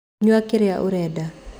Nyua kĩrĩa ũrenda.